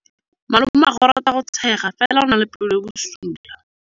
Malomagwe o rata go tshega fela o na le pelo e e bosula.